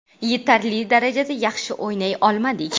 Yetarli darajada yaxshi o‘ynay olmadik.